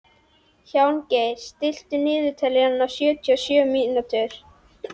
Hjálmgeir, stilltu niðurteljara á sjötíu og sjö mínútur.